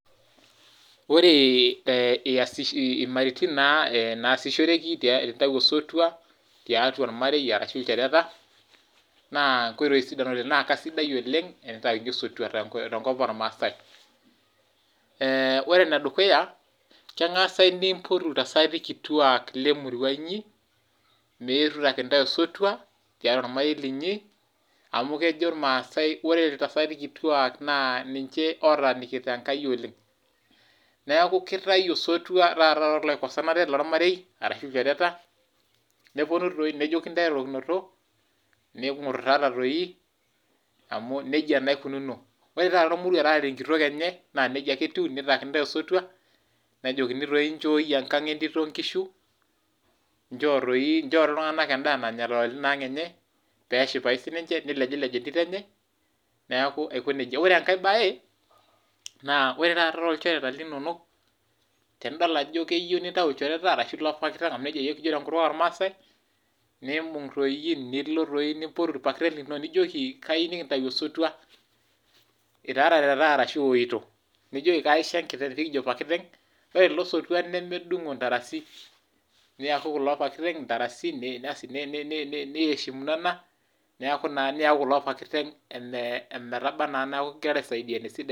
Ore imaritin naasishoreki tenintau osotua tiatua ormarei orashu ilchoreta naa nkoitoi sidan oleng na keisidai oleng tenitaikini osotua tenkopang ormaasai, ore enedukuya naa kengasi aipot iltasati kituak lemurua inyi meetu aitaki intae osotua tiatua ormarei linyi amu kejo ormaasai ore iltasati kituak naa ninche otaanikita enkaina oleng ,neeku kitau taata osotua tooloikosanate lormarei orashua ilchoreta neponu doi nejoki ntae erorokinoto ningututata doi amu nejia naa eikununo. ore taata ormoruo otaarare enkitok enye naa nejia ake eikununo ,neitaikini ntae osotua nejokini doi nchoi enkang entito inkishu ,nchoo ltunganak endaa nanya tinaang enye peeshipau siiniche nilejilej entito enche neeku aiko nejia. ore enkae bae naa ore taata toolchoreta linonok, tenidol ajo iyieu nintau lchoreta orashu loopakiteng amu nejia yiiok kijo tenkutuk oramasai, nilo nimbung nilo nimpotu irpartei lino nijoki kayieu nikintau osotua itaarate taa eshu weeitu nijoki kaisho enkiteng nikijo pakiteng ore ilo sotua nemedungo intarasi niyakuku loopakiteng intarasi basi niheshimunono niyakuku loo pakiteng ometaba naa neeku ingirara aisaidiana esidai.